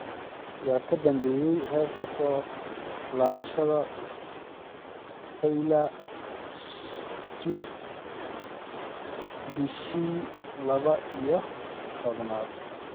yaa ka dambeeya heesta soo laabashada taylor swift bishii laba iyo tobnaad